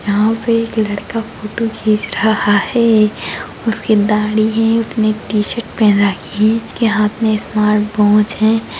यहाँ पे एक लड़का फोटो खीच रहा हैं उसके दाढ़ी हैं उसने एक टी शर्ट पहन रखी हैं उसके हाथ में स्मार्ट वॉच हैं।